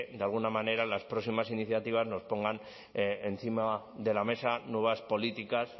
de alguna manera en las próximas iniciativas nos pongan encima de la mesa nuevas políticas